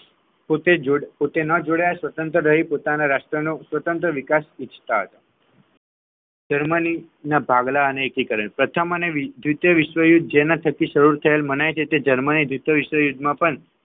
પોતા જોડઈ પોતા ન જોડાઈ અને સ્વતંત્ર રહી પોતાના રાષ્ટ્રનો સ્વતંત્ર વિકાસ ઈચ્છતા હતા જર્મનીના ભાગલા અને એકીકરણ પ્રથમ અને દ્વિતીય વિશ્વયુદ્ધમાં જેના થકી સરળ માન્ય છે તે જર્મની દ્વિતીય વિશ્વયુદ્ધમાં પણ